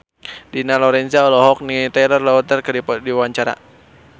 Dina Lorenza olohok ningali Taylor Lautner keur diwawancara